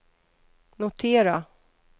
notera